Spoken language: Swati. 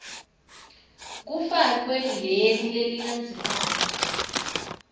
kufakwe leli lelilandzelako